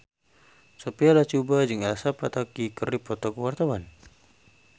Sophia Latjuba jeung Elsa Pataky keur dipoto ku wartawan